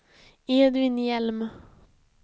Edvin Hjelm